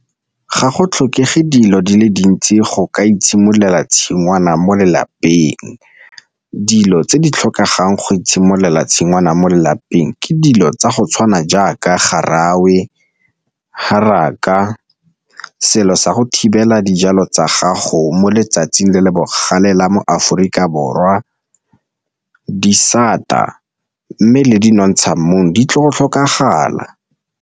Ga go tlhokege dilo di le dintsi go ka itshimololela tshingwana mo lelapeng, dilo tse di tlhokegang go itshimololela tshingwana mo lelapeng ke dilo tsa go tshwana jaaka garawe, haraka, selo sa go thibela dijalo tsa gago mo letsatsing le le bogale la mo Aforika Borwa, disata mme le di nontsha mmung ditlile go tlhokagala.